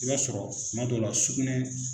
I b'a sɔrɔ tuma dɔw la sugunɛ